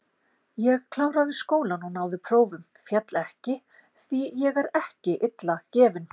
Ég kláraði skólann og náði prófum, féll ekki, því ég er ekki illa gefinn.